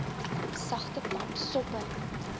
sagte pap soppe